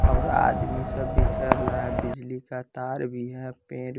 और आदमी सब भी चल रहा है बिजली का तार भी है पेड़--